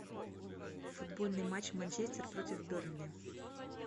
футбольный матч манчестер против бернли